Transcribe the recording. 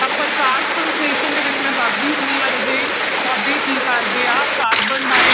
ਤਾਂ ਪ੍ਰਕਾਸ਼ ਸੰਸਲੇਸ਼ਣ ਦੇ ਵਿੱਚ ਮੈਂ ਦੱਸਦੀ ਹੁੰਦੀ ਹਾਂ ਰਾਜੇ ਪੌਦੇ ਕੀ ਕਰਦੇ ਆ ਕਾਰਬਨ ਡਾਇ